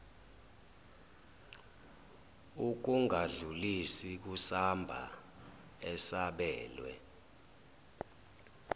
ukungadlulisi kusamba esabelwe